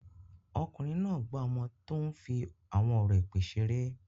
Ọkùnrin náà gbá ọmọ tó ń fi àwọn ọ̀rọ̀ èpè ṣeré.